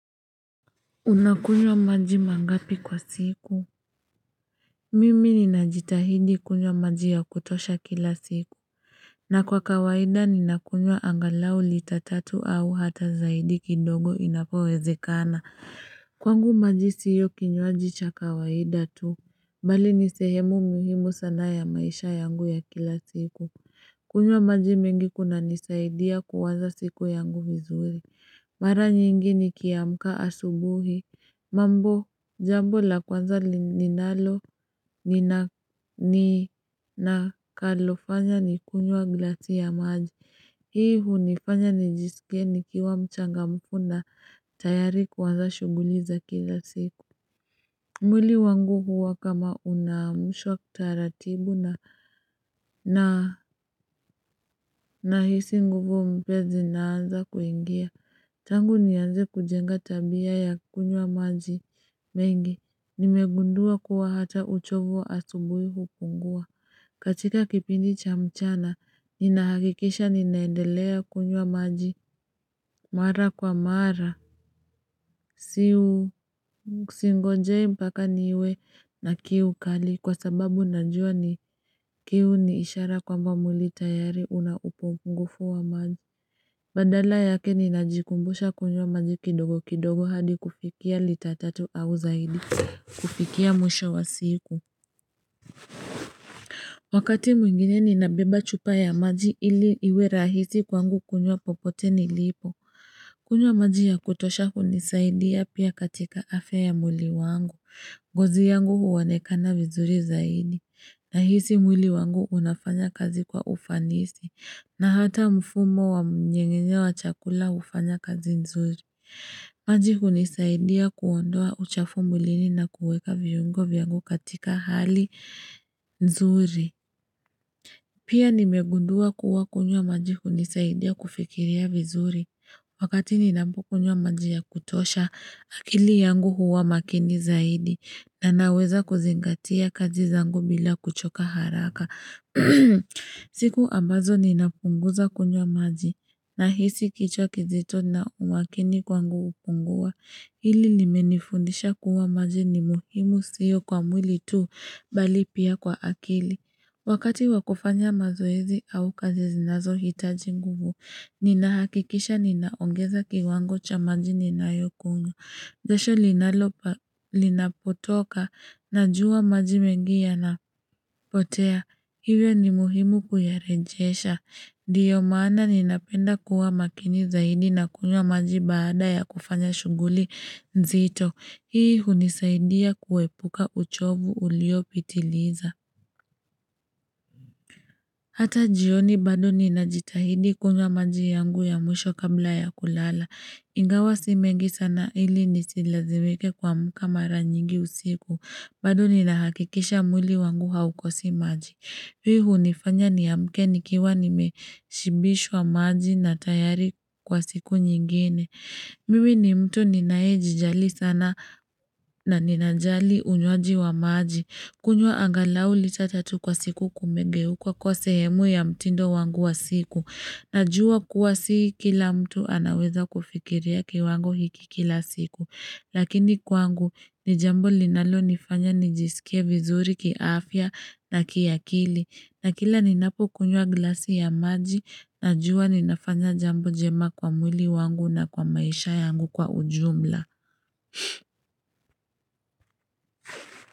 Unakunywa maji mangapi kwa siku? Mimi ninajitahidi kunywa maji ya kutosha kila siku. Na kwa kawaida ninakunywa angalau lita tatu au hata zaidi kidogo inapowezekana. Kwangu maji sio kinywaji cha kawaida tu. Bali ni sehemu muhimu sana ya maisha yangu ya kila siku. Kunywa maji mengi kunanisaidia kuwaza siku yangu vizuri. Mara nyingi nikiamka asubuhi. Mambo, jambo la kwanza ninalo ninakalofanya ni kunywa glasi ya maji. Hii hunifanya nijisikie nikiwa mchangamfu na tayari kuanza shughuli za kila siku. Mwili wangu huwa kama unaamshwa kitaratibu na nahisi nguvu mpya zinaanza kuingia. Tangu nianze kujenga tabia ya kunywa maji mengi. Nimegundua kuwa hata uchovu wa asubuhi hupungua. Katika kipindi cha mchana, ninahakikisha ninaendelea kunywa maji mara kwa mara. Singonjei mpaka niwe na kiu kali kwa sababu najua ni kiu ni ishara kwamba mwili tayari una upungufu wa maji. Badala yake ninajikumbusha kunywa maji kidogo kidogo hadi kufikia lita tatu au zaidi kufikia mwisho wa siku Wakati mwingine ninabeba chupa ya maji ili iwe rahisi kwangu kunywa popote nilipo kunywa maji ya kutosha hunisaidia pia katika afya ya mwili wangu. Ngozi yangu huonekana vizuri zaidi. Nahisi mwili wangu unafanya kazi kwa ufanisi. Na hata mfumo wa mnyengenye wa chakula hufanya kazi nzuri. Maji hunisaidia kuondoa uchafu mwilini na kuweka viungo vyangu katika hali nzuri. Pia nimegundua kuwa kunywa maji hunisaidia kufikiria vizuri. Wakati ninaoukunywa maji ya kutosha, akili yangu huwa makini zaidi na naweza kuzingatia kazi zangu bila kuchoka haraka. Siku ambazo ninapunguza kunywa maji nahisi kichwa kizito na umakini kwangu hupungua. Hili limenifundisha kuwa maji ni muhimu sio kwa mwili tu bali pia kwa akili. Wakati wa kufanya mazoezi au kazi zinazohitaji nguvu, ninahakikisha ninaongeza kiwango cha maji ninayokunywa. Jasho linapotoka, najua maji mengi yanapotea. Hivyo ni muhimu kuyarejesha. Ndiyo maana ninapenda kuwa makini zaidi na kunywa maji baada ya kufanya shughuli nzito. Hii hunisaidia kuepuka uchovu uliopitiliza. Hata jioni bado ninajitahidi kunywa maji yangu ya mwisho kabla ya kulala. Ingawa si mengi sana ili nisilazimike kuamka mara nyingi usiku. Bado ninahakikisha mwili wangu haukosi maji. Hii hunifanya niamke nikiwa nimeshibishwa maji na tayari kwa siku nyingine. Mimi ni mtu ninaejijali sana na ninajali unywaji wa maji. Kunywa angalau lita tatu kwa siku kumegeuka kuwa sehemu ya mtindo wangu wa siku. Najua kuwa si kila mtu anaweza kufikiria kiwango hiki kila siku. Lakini kwangu ni jambo linalonifanya nijisikie vizuri kiafya na kiakili. Na kila ninapokunywa glasi ya maji najua ninafanya jambo jema kwa mwili wangu na kwa maisha yangu kwa ujumla.